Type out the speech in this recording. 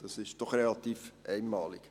das ist doch relativ einmalig.